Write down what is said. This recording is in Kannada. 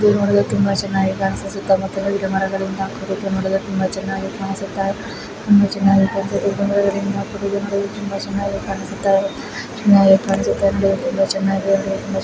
ಇದು ನೋಡಲು ತುಂಬಾ ಚೆನ್ನಾಗಿ ಕಾಣಿಸುತ್ತಿದ್ದು ಸುತ್ತಮುತ್ತಾ ಗಿಡಮರಗಳಿಂದ ಕುಡಿದು ನೋಡಲು ತುಂಬಾ ಚೆನ್ನಾಗಿ ಕಾಣಿಸುತಾ .